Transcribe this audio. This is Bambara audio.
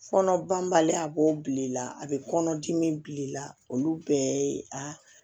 Fɔɔnɔ banbali a b'o bil'i la a bɛ kɔnɔdimi bil'i la olu bɛɛ ye a